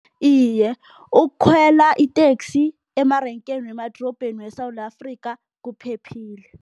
Iye, ukukhwela iteksi emarenkeni wemadorobheni weSewula Afrika kuphephile.